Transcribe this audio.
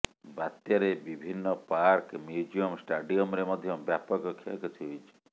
ବାତ୍ୟାରେ ବିଭିନ୍ନ park museum ଷ୍ଟାଡିୟମରେ ମଧ୍ୟ ବ୍ୟାପକ କ୍ଷୟକ୍ଷତି ହୋଇଛି